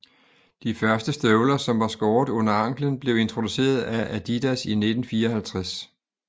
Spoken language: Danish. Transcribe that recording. De første støvler som var skåret under anklen blev introduceret af Adidas i 1954